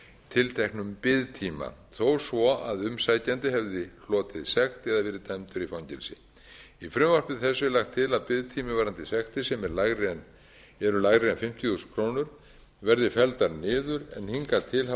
tilteknum biðtíma þó svo að umsækjandi hefði hlotið sekt eða verið dæmdur í fangelsi í frumvarpi þessu er lagt til að biðtími varðandi sektir sem eru lægri en fimmtíu þúsund krónur verði felldar niður en hingað til hafa